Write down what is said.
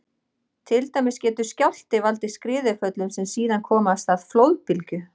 Til dæmis getur skjálfti valdið skriðuföllum sem síðan koma af stað flóðbylgju.